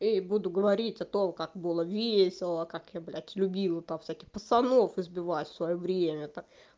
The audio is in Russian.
эй буду говорить о том как было весело как я блядь любила всяких пацанов избивать в своё время та